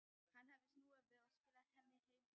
Hann hafði snúið við og skilað henni heim í fússi.